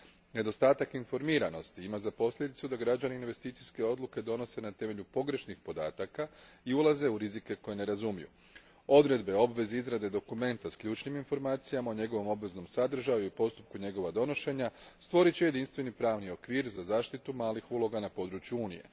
Nedostatak informiranosti ima za posljedicu da građani investicijske odluke donose na temelju pogrešnih podataka i ulaze u rizike koje ne razumiju. Odredbe, obveze izrade dokumenta s ključnim informacijama o njegovom obveznom sadržaju i postupku njegova donošenja stvorit će jedinstveni pravni okvir za zaštitu malih uloga na području Unije.